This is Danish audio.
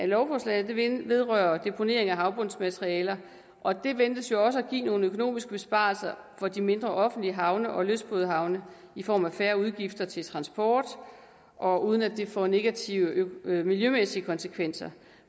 lovforslaget vedrører deponering af havbundsmateriale og det ventes jo også at give nogle økonomiske besparelser for de mindre offentlige havne og lystbådehavne i form af færre udgifter til transport og uden at det får negative miljømæssige konsekvenser